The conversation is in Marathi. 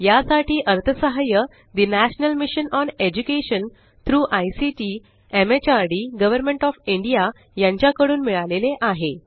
यासाठी अर्थसहाय्य ठे national mission on education through ICT MHRD government of India कडून मिळाले आहे